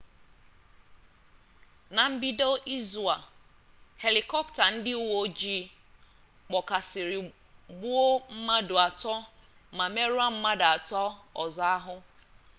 na mbido izu a helịkọpta ndị uwe ojii kpọkasịrị gbuo mmadụ atọ ma merụọ mmadụ atọ ọzọ ahụ